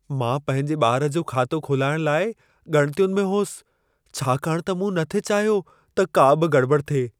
मां पंहिंजे ॿारु जो खातो खोलाइण लाइ ॻणितियुनि में होसि, छाकाणि त मूं न थे चाहियो त का बि गड़िॿड़ि थिए।